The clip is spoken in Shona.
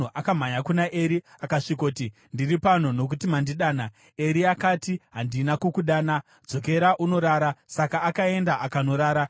Akamhanya kuna Eri akasvikoti, “Ndiri pano, nokuti mandidana.” Eri akati, “Handina kukudana; dzokera unorara.” Saka akaenda akanorara.